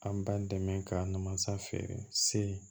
An b'an dɛmɛ ka na mansa feere se